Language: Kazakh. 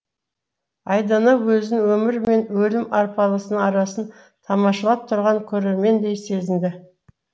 айдана өзін өмір мен өлім арпалысының арасын тамашалап тұрған көрермендей сезінді